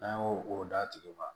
N'an y'o o d'a tigi ma